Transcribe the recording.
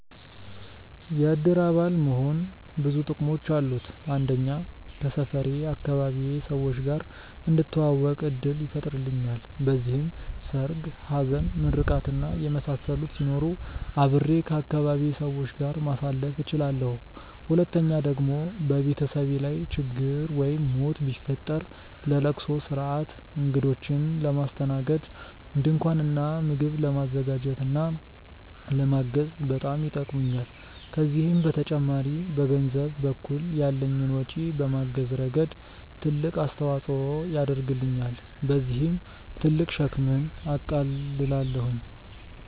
የእድር አባል መሆን ብዙ ጥቅሞች አሉት። አንደኛ ከሰፈሬ/ አካባቢዬ ሰዎች ጋር እንድተዋወቅ እድል ይፈጥርልኛል። በዚህም ሰርግ፣ ሀዘን፣ ምርቃት እና የመሳሰሉት ሲኖሩ አብሬ ከአካባቢዬ ሰዎች ጋር ማሳለፍ እችላለሁ። ሁለተኛ ደግሞ በቤተሰቤ ላይ ችግር ወይም ሞት ቢፈጠር ለለቅሶ ስርአት፣ እግዶችን ለማስተናገድ፣ ድንኳን እና ምግብ ለማዘጋጀት እና ለማገዝ በጣም ይጠቅሙኛል። ከዚህም በተጨማሪ በገንዘብ በኩል ያለኝን ወጪ በማገዝ ረገድ ትልቅ አስተዋፅኦ ያደርግልኛል። በዚህም ትልቅ ሸክምን አቃልላለሁኝ።